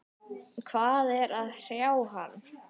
Hvað er að hrjá hann?